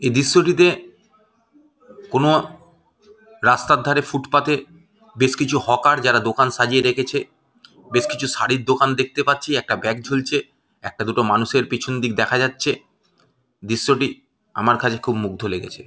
এ দৃশ্যটিতে কোনো রাস্তার ধারে ফুটপাথ -এ বেশ কিছু হকার যারা দোকান সাজিয়ে রেখেছে বেশ কিছু শাড়ির দোকান দেখতে পাচ্ছি একটা ব্যাগ ঝুলছে একটা দুটো মানুষের পিছন দিক দেখা যাচ্ছে দৃশ্যটি আমার কাছে খুব মুগ্ধ লেগেছে।